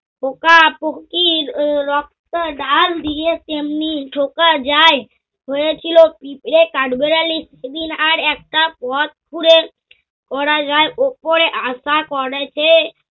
পোকা-পকির ও রক্ত ঢাল দিয়ে তেমনি ঝোঁকা যায়। হয়েছিল পিঁপড়ে কাঠবেড়ালি সেদিন আর একটা ওপরে